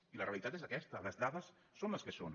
i la realitat és aquesta les dades són les que són